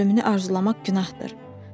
Öz ölümünü arzulamaq günahdır.